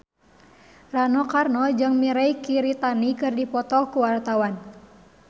Rano Karno jeung Mirei Kiritani keur dipoto ku wartawan